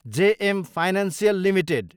JM financial Ltd